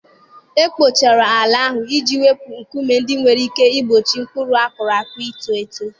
E kpochara ala ahụ iji wepụ nkume ndị nwere ike igbochi mkpụrụ a kụrụ ito eto.